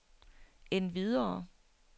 endvidere